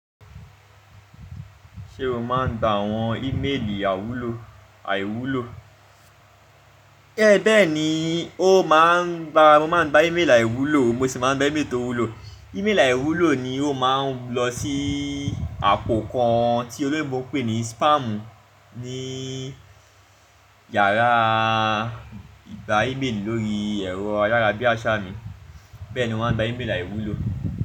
Ṣé o máa ń gba àwọn ìméèlì àwúlò àìwúlò? Bẹ́ẹ̀ni, ó máa ń gba, mo máa ń gba ìméèlì àìwúlò mo sì máa ń gba ìméèlì tó wúlò. Ìméèlì àìwúlò ni ó máa ń lọ sí àpò kan tí òlóyìnbó ń pè ní spam ní yàrá ìgba ìméèlì lórí ẹ̀rọ ayára bíi àṣá mi. Bẹ́ẹ̀ni mo máa ń gba ìméèlì àìwúlò.